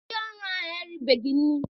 Ndị ọrụ ahụ eribeghị nri.